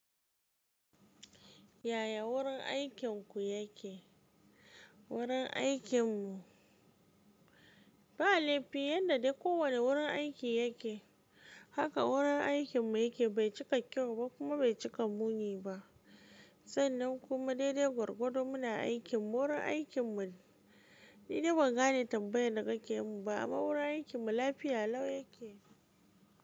Yaya wurin aikinku yake? Wurin aikin mu, ba laifi yanda dai ko wanne wurin aiki yake haka wurin aikin mu yake, bai cika kyau ba kuma bai cika muni ba sannan kuma daidai gwargwado muna aikin mu, wurin aikin mu ni dai ban gane tambayan da kake mun ba, amma wurin aikin mu lafiya lau yake.